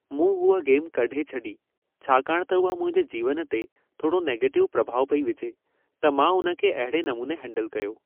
मूं हूअ गेम कढे छॾी छाकाणि त उहा मुंहिंजे जीवन ते थोड़ो नेगेटिव प्रभाव पई विझे, त मां उन खे अहिड़े नमूने हैंडल कयो।